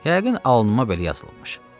Yəqin alnıma belə yazılıbmış.